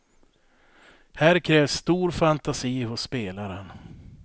Här krävs stor fantasi hos spelaren.